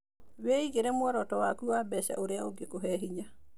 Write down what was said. Wĩigĩre mũoroto waku wa mbeca ũrĩa ũngĩkũhe hĩnya.